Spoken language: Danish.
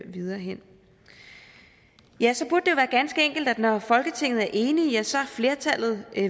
videre hen ja så burde være ganske enkelt at når folketinget er enige så er flertallet